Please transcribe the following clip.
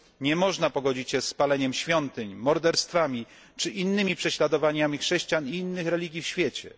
Nie można pogodzić się z paleniem świątyń, morderstwami, czy innymi prześladowaniami chrześcijan i innych religii w świecie.